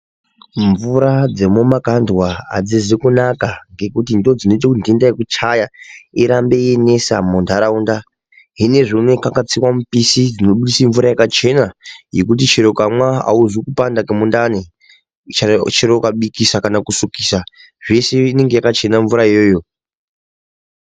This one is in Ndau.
Mvura dzemumakandwa adzizikunaka ngekutindodzina kuti dhinda yekuchaya irambe yeinetsa mundaraunda..Hiyezvinou pakatsiwa mipishi dzinobudise mvura dzakachena yekuti chero ukamwa auzwi kupanda kwemundani chero ukabikisa chero kusukisa zvese inonga yakachena mvura iyoyo.